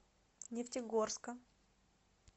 нефтегорска